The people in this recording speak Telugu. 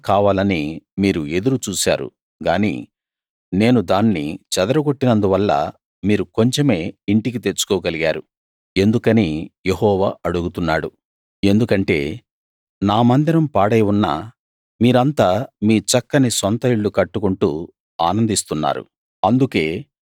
విస్తారంగా కావాలని మీరు ఎదురు చూశారు గానీ నేను దాన్ని చెదరగొట్టినందువల్ల మీరు కొంచెమే ఇంటికి తెచ్చుకోగలిగారు ఎందుకని యెహోవా అడుగుతున్నాడు ఎందుకంటే నా మందిరం పాడై ఉన్నా మీరంతా మీ చక్కని సొంత ఇళ్ళు కట్టుకుంటూ ఆనందిస్తున్నారు